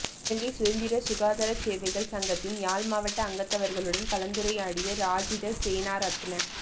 இலங்கை சுதந்திர சுகாதார சேவைகள் சங்கத்தின் யாழ்மாவட்ட அங்கத்தவர்களுடன் கலந்துரையாடிய ராஜித சேனாரத்ன